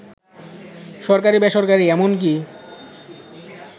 সরকারি, বেসরকারি এমনকি